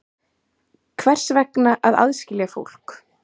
Hvers vegna að aðskilja fólk?